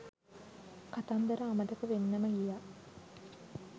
කතන්දර අමතක වෙන්නම ගියා.